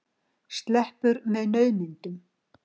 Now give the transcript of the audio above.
Sleppur með naumindum.